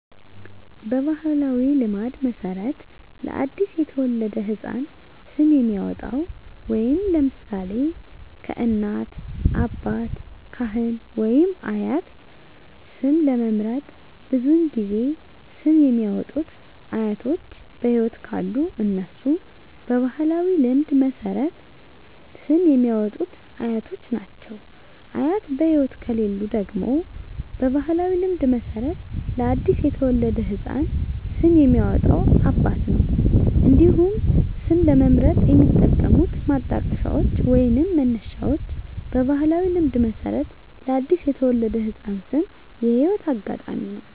በባሕላዊ ልማድ መሠረት ለ አዲስ የተወለደ ሕፃን ስም የሚያወጣዉ (ለምሳሌ: ከእናት፣ አባት፣ ካህን ወይም አያት) ስም ለመምረጥ ብዙውን ጊዜ ስም የሚያወጡት አያቶች በህይወት ካሉ እነሱ በባህላዊ ልማድ መሠረት ስም የሚያወጡት አያቶች ናቸው። አያት በህይወት ከሌሉ ደግሞ በባህላዊ ልማድ መሠረት ለአዲስ የተወለደ ህፃን ስም የሚያወጣው አባት ነው። እንዲሁም ስም ለመምረጥ የሚጠቀሙት ማጣቀሻዎች ወይንም መነሻዎች በባህላዊ ልማድ መሠረት ለአዲስ የተወለደ ህፃን ስም የህይወት አጋጣሚ ነው።